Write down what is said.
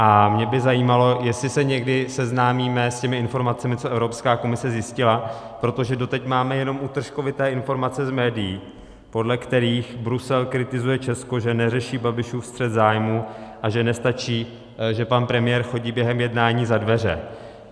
A mě by zajímalo, jestli se někdy seznámíme s těmi informacemi, co Evropská komise zjistila, protože doteď máme jenom útržkovité informace z médií, podle kterých Brusel kritizuje Česko, že neřeší Babišův střet zájmů a že nestačí, že pan premiér chodí během jednání za dveře.